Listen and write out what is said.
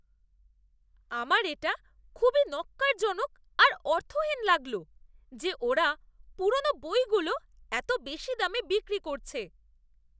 আমার এটা খুবই ন্যক্কারজনক আর অর্থহীন লাগল যে ওরা পুরনো বইগুলো এত বেশি দামে বিক্রি করছে।